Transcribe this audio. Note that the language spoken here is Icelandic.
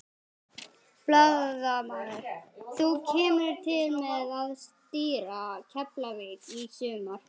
Blaðamaður: Þú kemur til með að stýra Keflavík í sumar?